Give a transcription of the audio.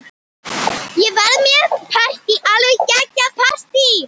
Ég verð með partí, alveg geggjað partí.